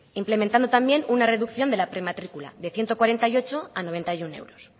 implementando también una reducción de la prematrícula de ciento cuarenta y ocho a noventa y uno euros